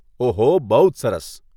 ઓહો.. બહુ જ સરસ.